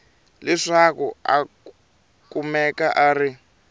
leswaku a kumeka a ri